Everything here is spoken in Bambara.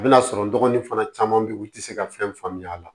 A bɛna sɔrɔ n dɔgɔnin fana caman bɛ yen u tɛ se ka fɛn faamuya a la